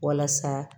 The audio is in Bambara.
Walasa